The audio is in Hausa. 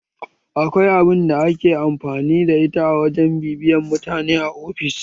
Akwai abun da ake amfani da ita a wajen bibiyan mutane a ofis